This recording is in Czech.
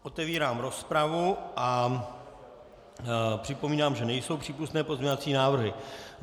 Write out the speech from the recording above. Otevírám rozpravu a připomínám, že nejsou přípustné pozměňovací návrhy.